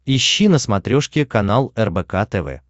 ищи на смотрешке канал рбк тв